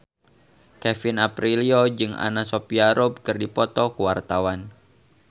Kevin Aprilio jeung Anna Sophia Robb keur dipoto ku wartawan